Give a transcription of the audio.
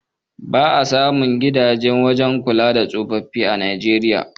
Ba a samun gidajen kula da tsofaffin a Najeriya.